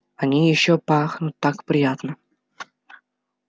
они ещё пахнут так приятно